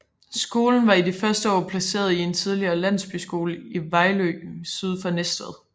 Skolen var i de første år placeret i en tidligere landsbyskole i Vejlø syd for Næstved